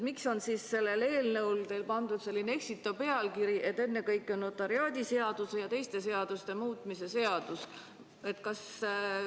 Miks on siis sellele eelnõule pandud selline eksitav pealkiri, et ennekõike on notariaadiseaduse ja teiste seaduste muutmise seadus?